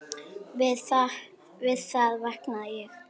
Við það vaknaði ég.